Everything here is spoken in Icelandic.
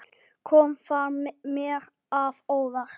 Kom það mér að óvart?